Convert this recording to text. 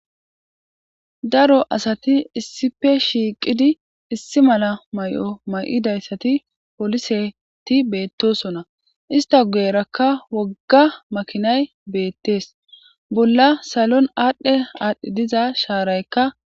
daro asati issipe shiiqidi issi mala may7o may7idayssati poliseti beettosonna ista geerakka wogga makinay beettees bolla salon aadhdhe aadhdhi diza shaaraykka